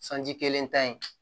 Sanji kelen ta in